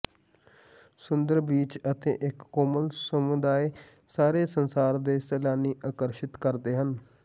ਸੁੰਦਰ beach ਅਤੇ ਇੱਕ ਕੋਮਲ ਸਮੁਦਾਏ ਸਾਰੇ ਸੰਸਾਰ ਦੇ ਸੈਲਾਨੀ ਆਕਰਸ਼ਿਤ ਕਰਦੇ ਹਨ